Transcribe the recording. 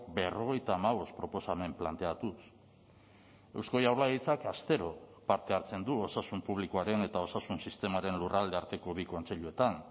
berrogeita hamabost proposamen planteatuz eusko jaurlaritzak astero parte hartzen du osasun publikoaren eta osasun sistemaren lurralde arteko bi kontseiluetan